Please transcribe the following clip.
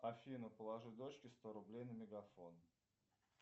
афина положи дочке сто рублей на мегафон